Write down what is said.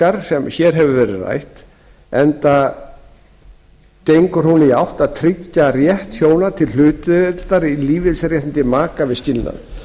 slíka breytingu enda gengur hún í þá átt að tryggja rétt hjóna til hlutdeildar í lífeyrisrétti maka við skilnað